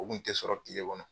O kun tɛ sɔrɔ diɲɛ kɔnɔ